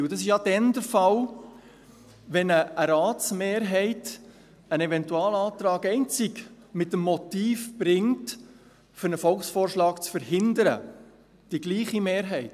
Dies ist ja dann der Fall, wenn eine Ratsmehrheit einen Eventualantrag einzig mit dem Motiv bringt, einen Volksvorschlag zu verhindern – die gleiche Mehrheit.